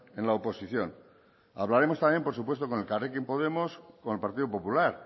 en la oposición hablaremos también por supuesto con elkarrekin podemos y con el partido popular